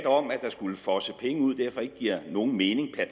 om at der skulle fosse penge ud derfor ikke giver nogen mening har